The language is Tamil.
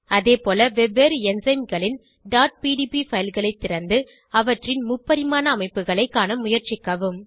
அதேபோல வெவ்வேறு என்சைம் களின் pdb fileகளை திறந்து அவற்றின் முப்பரிமாண அமைப்புகளை காண முயற்சிக்கவும்